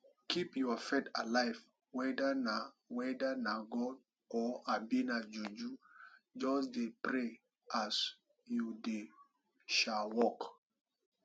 keep your faith alive weda na weda na god o abi na juju just dey pray as you dey um work